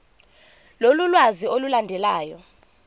lolu lwazi olulandelayo